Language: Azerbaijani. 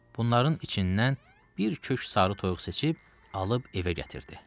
Bunların içindən bir kök sarı toyuq seçib, alıb evə gətirdi.